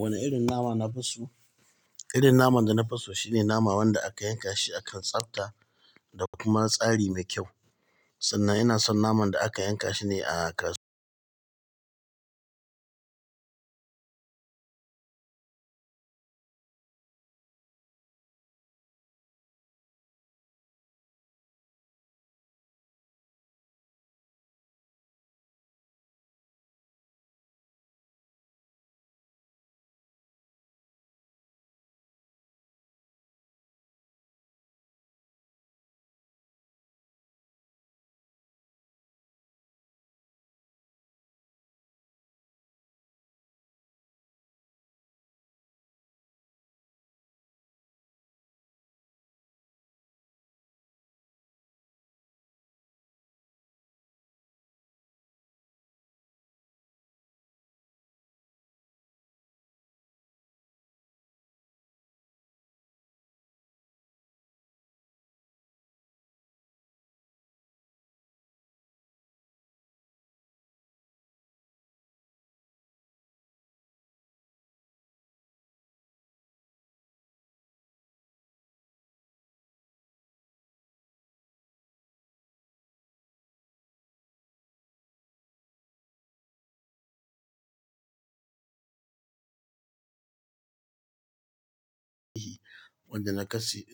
Wane irin nama nafi so? Irin naman da nafi so shine naman wanda aka yanka shi a kan tsafta da kuma tsari mai kyau. Sannan ina son naman da aka yanka shi ne a kasuwa. Wanda na